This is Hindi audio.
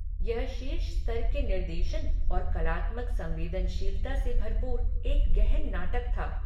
यह शीर्ष स्तर के निर्देशन और कलात्मक संवेदनशीलता से भरपूर एक गहन नाटक था।